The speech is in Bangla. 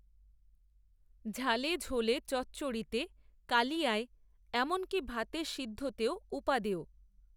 ঝালে ঝোলে চচ্চড়িতে, কালিয়ায়, এমনকী ভাতে, সিদ্ধতেও উপাদেয়